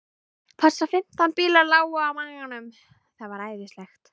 Passar. fimmtán bílar lágu á maganum. það var æðislegt.